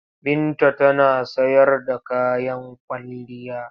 Binta tana sayar da kayan kwalliya.